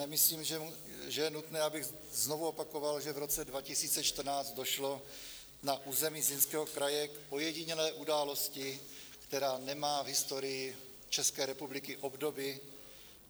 Nemyslím, že je nutné, abych znovu opakoval, že v roce 2014 došlo na území Zlínského kraje k ojedinělé události, která nemá v historii České republiky obdoby.